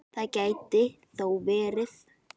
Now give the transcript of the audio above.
Það gæti þó verið.